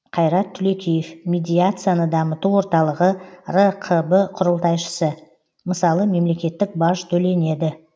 қайрат түлекеев медиацияны дамыту орталығы рқб құрылтайшысы мысалы мемлекеттік баж төленеді